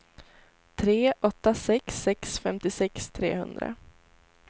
tre åtta sex sex femtiosex trehundra